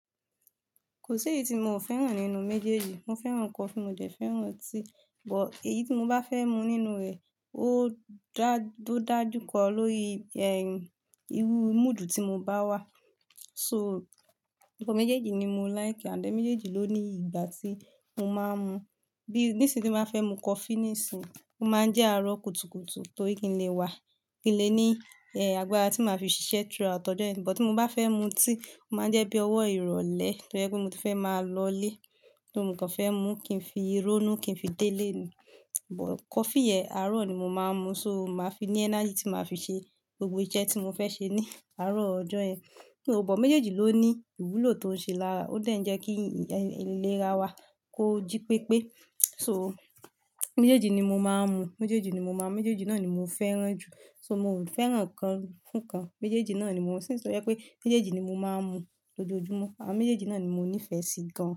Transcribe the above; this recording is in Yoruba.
Kò sí èyí tí mo fẹ́ràn nínú méjèèjì. Mo fẹ́ràn coffee, mo dẹ̀ fẹ́ràn tea. But èyí tí mo bá fẹ́ mu nínú rẹ̀ ó dá, ó dá jùkọ lórí, ehn, irú mood tí mo bá wà. So, ọ̀pọ̀ méjèèjì ni mo like and then méjèèjì ló ní ìgbà tí mo máa ń mu. Bí, nisinyi tí mo bá fẹ́ mu coffee níìsín, ó máa ń jẹ́ àárọ̀ kùtùkùtù torí kí n lè wà, kí n lè ní, àgbára tí màá fi ṣiṣẹ́ throughout ọjọ́ yẹn. But tí mo bá fẹ́ mu tea, ó máa ń jẹ́ bí ọwọ́ ìrọ̀lẹ́ tó jẹ́ pé mo ti fẹ́ máa lọlé. Tí mo kàn fẹ́ mu kí n fi rónú, kí n fi délé ni. But coffee yẹn àárọ̀ ni mo máa ń mu. So, màá fi ní energy tí màá fi ṣe gbogbo iṣẹ́ tí mo fẹ́ ṣe ní àárọ̀ ọjọ́ yẹn. Kíni o, but méjèèjì ló ní ìwúlò tó ń ṣe lára. Ó dà jẹ́ kí ìlera wa kó jí pépé. So, méjèèjì ni mo máa ń mu. Méjèèjì ni mo máa, méjèèjì náà ni mo fẹ́ràn jù. So, mo ò fẹ́ràn kan fún kan. Méjèèjì náà ni mo ń since to jẹ pé méjèèjì ni mo máa ń mu lójoojúmọ́ àwọn méjèèjì náà ni mo nífẹ̀ẹ́ sí gan.